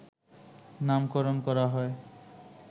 নামকরণ করা হয়